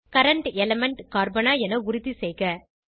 current element கார்பனா என உறுதிசெய்க